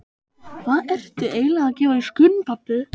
Hvað ertu eiginlega að gefa í skyn, pabbi?